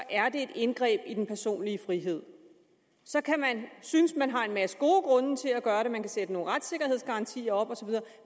er det et indgreb i den personlige frihed så kan man synes man har en masse gode grunde til at gøre det og man kan sætte nogle retssikkerhedsgarantier op osv